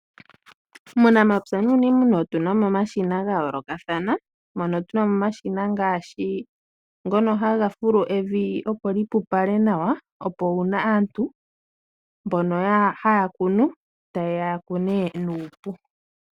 Muunamapya nuuniimuna otuna mo omashina gayoolokathana. Mono tuna mo omashina ngaashi ngono haga fulu evi opo lipupale nawa, opo uuna aantu mbono haya kunu tayeya yakune nuupu.